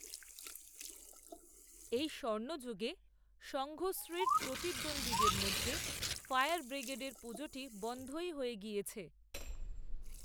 ওই স্বর্ণযুগে সঙ্ঘশ্রীর প্রতিদ্বন্দ্বীদের মধ্যে, ফায়ার ব্রিগেডের, পুজোটি, বনধই হয়ে গিয়েছে